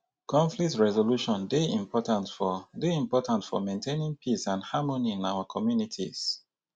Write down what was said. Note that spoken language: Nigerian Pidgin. conflict resolution dey important for dey important for maintaining peace and harmony in our communities.